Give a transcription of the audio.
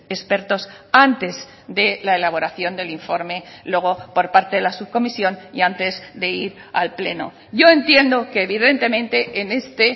expertos antes de la elaboración del informe luego por parte de la subcomisión y antes de ir al pleno yo entiendo que evidentemente en este